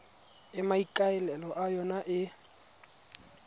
e maikaelelo a yona e